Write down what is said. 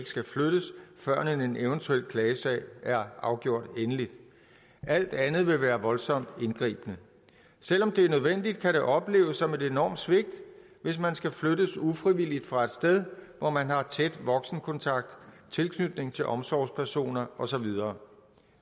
skal flyttes før en eventuel klagesag er afgjort endeligt alt andet vil være voldsomt indgribende selv om det er nødvendigt kan det opleves som et enormt svigt hvis man skal flyttes ufrivilligt fra et sted hvor man har tæt voksenkontakt tilknytning til omsorgspersoner og så videre